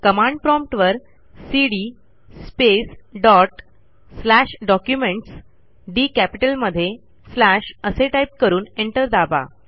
command prompt वरcd space dot slash documents डीकॅपिटलमध्ये slash असे टाईप करून एंटर दाबा